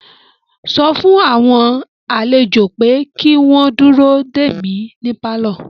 Sọ fún àwọn àlejò pé kí wọ́n dúró dè mí ní pálọ̀